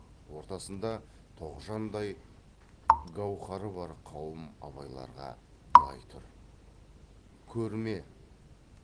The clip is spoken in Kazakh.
ортасында тоғжандай гауһары бар қауым абайларға былай тұр көрме